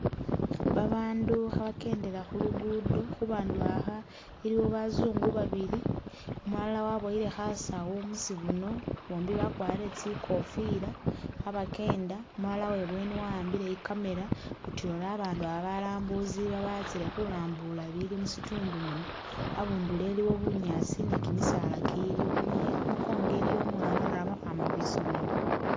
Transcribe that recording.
Babandu khabakendela khu'luguddo khubandu aba iliwo bazungu babili, umulala waboyile khasawu musibuno bombi wakwarile tsi'kofila khabakenda umulala uwebweni waambile i'camera utuya ori abandu aba balambusi ba batsile khulambula ibili musitundu muno abundulo iliwo bunyaasi ni kimisaala kiliyo i'mukongo iliyo umwana ori amakhwama khwisomelo